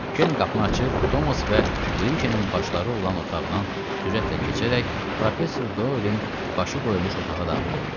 Keren qapını açıb Tomas və Briçelin başları olan otaqdan sürətlə keçərək professor Doelin başı qoyulmuş otağa daxil oldu.